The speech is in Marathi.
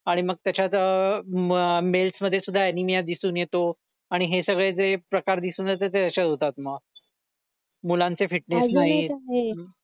आणि मग त्याच्यात अह मेल्स मध्ये पण ऍनिमिया दिसून येतो आणि हे सगळे जे प्रकार दिसून येतात ते असे होतात मग मुलांचे फिटनेस नाहीत